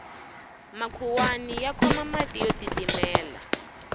makhuwani ya khoma mati yo titimela